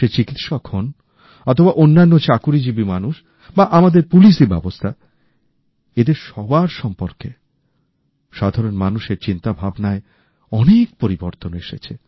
সে চিকিৎসক হোন অথবা অন্যান্য চাকুরিজীবী মানুষ বা আমাদের পু্লিশি ব্যবস্থা এদের সবার সম্পর্কে সাধারণ মানুষের চিন্তাভাবনায় অনেক পরিবর্তন এসেছে